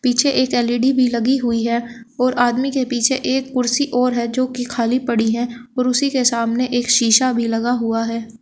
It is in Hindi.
पीछे एक एल_इ_डी भी लगी हुई है और आदमी के पीछे एक कुर्सी और है जो कि खाली पड़ी है और उसी के सामने एक शिशा भी लगा हुआ है।